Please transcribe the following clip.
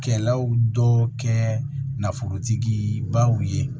Kɛlaw dɔ kɛ nafolotigi baw ye